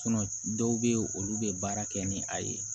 dɔw bɛ yen olu bɛ baara kɛ ni a ye